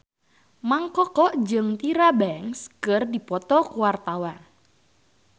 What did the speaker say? Mang Koko jeung Tyra Banks keur dipoto ku wartawan